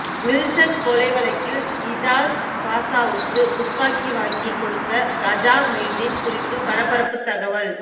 Wilson கொலை வழக்கில் இஜாஸ் பாஷாவுக்கு துப்பாக்கி வாங்கி கொடுத்த காஜா மொய்தீன் குறித்து பரபரப்பு தகவல்